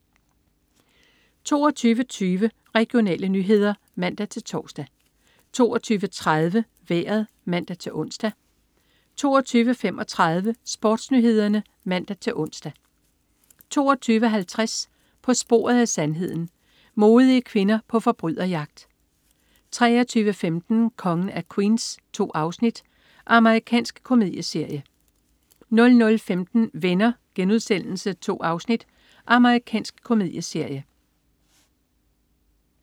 22.20 Regionale nyheder (man-tors) 22.30 Vejret (man-ons) 22.35 SportsNyhederne (man-ons) 22.50 På sporet af sandheden. Modige kvinder på forbryderjagt 23.15 Kongen af Queens. 2 afsnit. Amerikansk komedieserie 00.15 Venner.* 2 afsnit. Amerikansk komedieserie